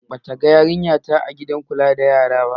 Ba ta gan yarinya ta ba a gidan kula da yara.